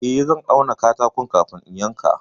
Eh, zan auna katakon kafin in yanka.